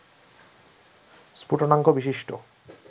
স্ফুটনাঙ্ক বিশিষ্ট